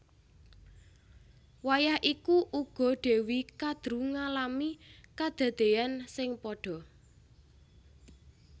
Wayah iku uga Dewi Kadru ngalami kadadéyan sing padha